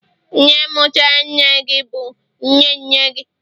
nne mutara nne gi, bu nne nne gi